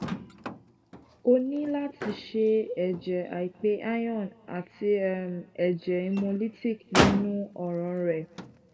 o ni lati ṣe akoso ẹjẹ aipe iron ati um ẹjẹ hemolytic ninu ọran rẹ